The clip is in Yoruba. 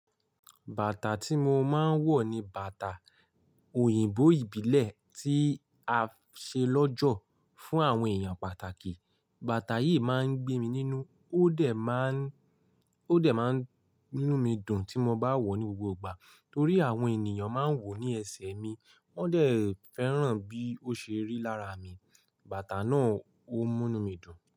Bàtà tí mo máa ń wọ̀ ni bàtà òyìnbó ìbílẹ̀ tí a ṣe lọ́jọ́ fún àwọn èèyàn pàtàkì. Bàtà yìí máa ń gbé mi nínú, ó dẹ̀ máa ń, ó dẹ̀ máa ń mú nú mi dùn tí mo bá wọ̀ ọ́ ní gbogbo ìgbà torí àwọn ènìyàn máa ń wò ó ní ẹsẹ̀ mi, wọ́n dẹ̀ fẹ́ràn bí ó ṣe rí lára mi. Bàtà náà ó múnú mí dùn.